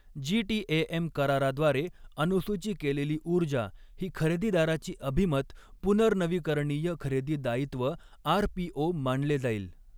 GTAM कराराद्वारे अनुसूची केलेली ऊर्जा ही खरेदीदाराची अभिमत पुनर्नवीकरणीय खरेदी दायित्व आरपीओ मानले जाईल.